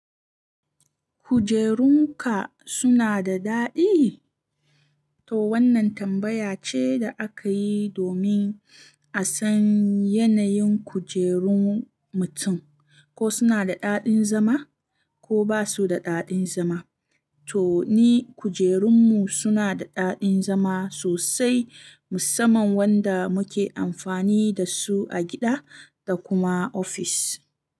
Kujerun ka suna da daɗi? To wannan tambaya ce da aka yi domin a san yanayin kujerun mutum, ko suna da daɗin zama ko ba su da daɗin zama. To ni kujerun mu suna da daɗin zama sosai, musamman wanda muke amfani da su a gida da kuma ofis.